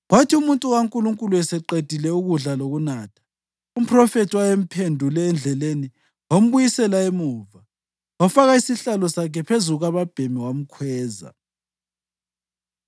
Kwathi umuntu kaNkulunkulu eseqedile ukudla lokunatha, umphrofethi owayemphendule endleleni wambuyisela emuva wafaka isihlalo sakhe phezu kukababhemi wamkhweza.